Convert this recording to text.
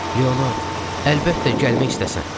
Leonard, əlbəttə gəlmək istəsən.